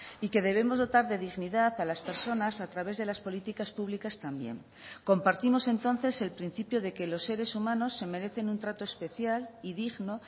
y que debemos dotar de dignidad a las personas a través de las políticas públicas también compartimos entonces el principio de que los seres humanos se merecen un trato especial y digno